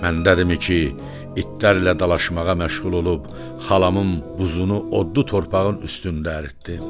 Məndədirmi ki, itlərlə dalaşmağa məşğul olub xalamın buzunu odlu torpağın üstündə əritdim?